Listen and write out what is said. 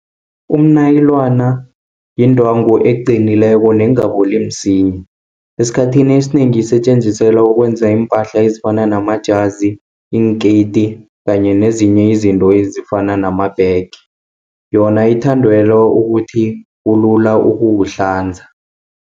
Umnayilana, yindwangu eqinileko nengaboli msinya. Esikhathini esinengi isetjenziselwa ukwenza iimpahla ezifana namajazi, iinketi kanye nezinye izinto ezifana namabhege, yona ithandelwa ukuthi kulula ukuwuhlanza.